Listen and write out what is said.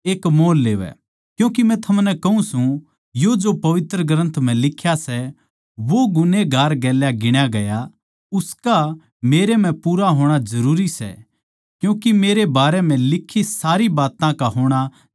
क्यूँके मै थमनै कहूँ सूं यो जो पवित्र ग्रन्थ म्ह लिख्या सै वो गुन्हेगार गेल्या गिण्या गया उसका मेरै म्ह पूरा होणा जरूरी सै क्यूँके मेरै बारे म्ह लिखी सारी बात्तां का होणा जरूरी सै